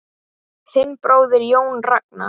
Þinn bróðir, Jón Ragnar.